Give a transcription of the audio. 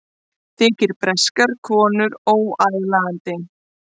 Þykir breskar konur óaðlaðandi